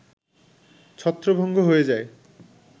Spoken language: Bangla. ছত্রভঙ্গ হয়ে যায়